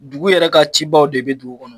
Dugu yɛrɛ ka cibaw de be dugu kɔnɔ